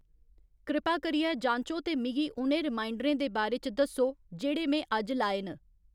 कृपा करियै जांचो ते मिगी उ'नें रिमाइंडरें दे बारे च दस्सो जेह्ड़े में अज्ज लाए न